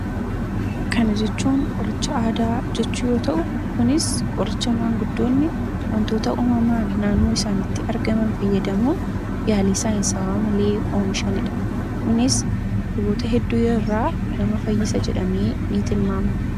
Kana jechuun qoricha aadaa jechuu yoo ta'u, kunis qoricha maanguddoonni wantoota uumamaan naannoo isaaniiti argaman fayyadamuun yaalii saayinsaawaa oomishanidha. Kunis, dhukkuboota hedduurraa nama fayyisa jedhamee ni tilmaamama.